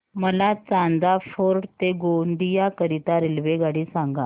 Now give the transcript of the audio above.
मला चांदा फोर्ट ते गोंदिया करीता रेल्वेगाडी सांगा